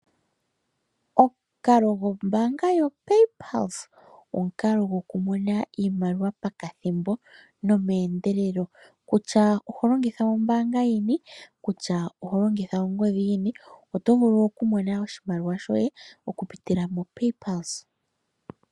Omukalo go mbaanga yo PayPulse omukalo gwoku mona iimaliwa pakathimbo nomeendelelo, kutya oholongitha ombaanga yini kutya oholongitha ongodhi yini, oto vulu okumona oshimaliwa sho ye oku pitila mo PayPulse.